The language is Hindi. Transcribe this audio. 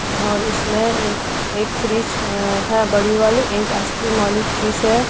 और इसमें एक फ्रिज है बड़ी वाली एक आइसक्रीम वाली फ्रिज है।